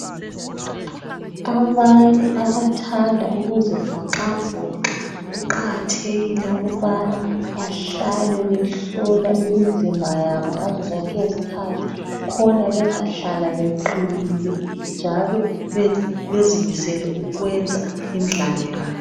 Abantu abathanda ukuzivoxavoxa kuqakathekile ukubana bahlale behlolwa imizimba yabo ngazo zonke izikhathi khona bezahlala beqinile njalo bezimisele ukuyenza imidlalo yabo.